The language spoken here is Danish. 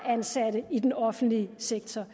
ansatte i den offentlige sektor